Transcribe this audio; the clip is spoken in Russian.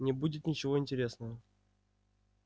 не будет ничего интересного